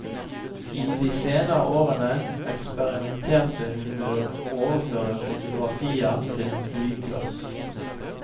I de senere årene eksperimenterte hun med å overføre fotografier til blyglass.